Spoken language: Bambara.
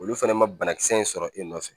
Olu fɛnɛ ma banakisɛ in sɔrɔ e nɔfɛ